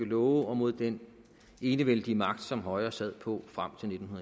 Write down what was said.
love og mod den enevældige magt som højre sad på frem til nitten